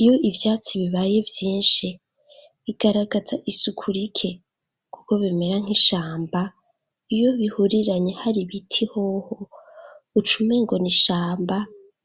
iyo ivyatsi bibaye vyinshi bigaragaza isuku rike kuko bimera nk'ishamba iyo bihuriranye hari biti hoho ucumengo ni ishamba